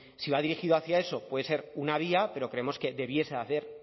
si va dirigido hacia eso puede ser una vía pero creemos que debiese de haber